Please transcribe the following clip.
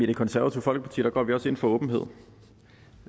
det konservative folkeparti går vi også ind for åbenhed